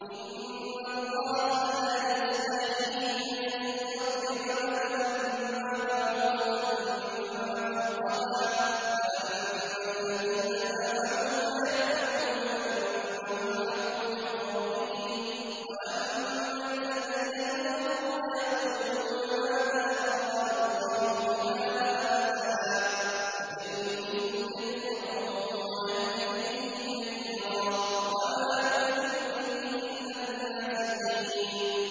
۞ إِنَّ اللَّهَ لَا يَسْتَحْيِي أَن يَضْرِبَ مَثَلًا مَّا بَعُوضَةً فَمَا فَوْقَهَا ۚ فَأَمَّا الَّذِينَ آمَنُوا فَيَعْلَمُونَ أَنَّهُ الْحَقُّ مِن رَّبِّهِمْ ۖ وَأَمَّا الَّذِينَ كَفَرُوا فَيَقُولُونَ مَاذَا أَرَادَ اللَّهُ بِهَٰذَا مَثَلًا ۘ يُضِلُّ بِهِ كَثِيرًا وَيَهْدِي بِهِ كَثِيرًا ۚ وَمَا يُضِلُّ بِهِ إِلَّا الْفَاسِقِينَ